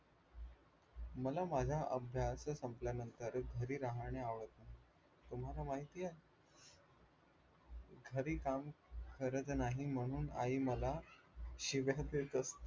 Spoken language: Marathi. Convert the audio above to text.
मला माझा अभ्यास सम्पल्यानंतर घरी राहणे आवडत नाही. तुम्हाला माहितीये घरी काम करत नाही म्हणून आई मला शिव्या देत असते